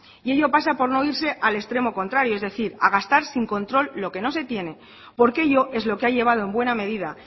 y ello pasa por no irse al extremos contrario es decir a gastar sin control lo que no se tiene porque ello es lo que ha llevado en buena medida